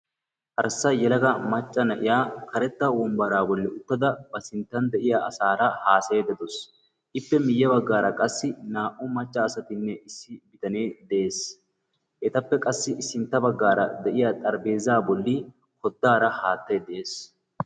Arssa yelaga macca na'iyaa karetta wombara bolli uttada ba sinttan de'iyaa asaara haasayiyda deawusu. Ippe miye baggaara qassi naa'u macca asatine issi bitane de'ees. Etappe qassi sintta baggaara de'iyaa xaraphphezza bollan kodaara haattaay de'ees.